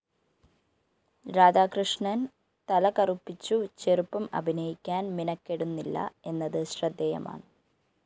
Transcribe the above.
രാധാകൃഷ്ണന്‍ തലകറുപ്പിച്ചു ചെറുപ്പം അഭിനയിക്കാന്‍ മിനക്കെടുന്നില്ല എന്നത് ശ്രദ്ധേയമാണ്